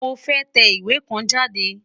Mo fẹ́ tẹ ìwé kan jáde.